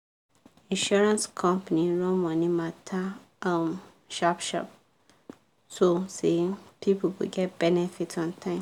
insurance company run money matter um sharp sharp so say people go get benefit on time.